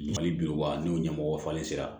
Mali bi wa n'u ɲɛmɔgɔ falen sira